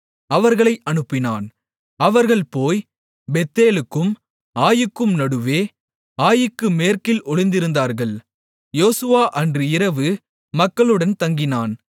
அவர்களை அனுப்பினான் அவர்கள் போய் பெத்தேலுக்கும் ஆயீக்கும் நடுவே ஆயீக்கு மேற்கில் ஒளிந்திருந்தார்கள் யோசுவா அன்று இரவு மக்களுடன் தங்கினான்